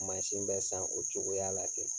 Mansin bɛ san o cogoya la kɛ